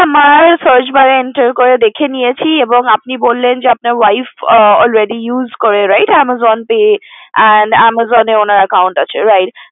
আমার Search bar এ enter করে দেখে নিয়েছি আর আপনি বললেন যে আপনার wife use করে right Amazon pay আর Amazon এ উনার account আছে right